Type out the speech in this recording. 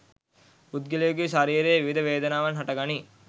පුද්ගලයෙකුගේ ශරීරයේ විවිධ වේදනාවන් හටගනී.